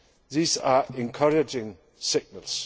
These are encouraging signals.